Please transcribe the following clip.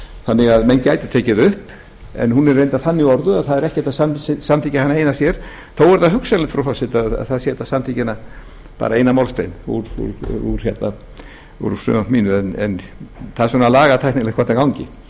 þannig að menn gætu tekið það upp en hún er reyndar þannig orðuð að það er ekki hægt að samþykkja hana eina sér þó er að hugsanlegt frú forseti að það sé hægt að samþykkja eina málsgrein úr frumvarpi mínu en það er svona lagatæknileg hvort þetta gangi